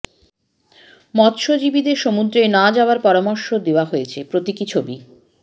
মৎস্যজীবীদের সমুদ্রে না যাওয়ার পরামর্শ দেওয়া হয়েছে প্রতীকী ছবি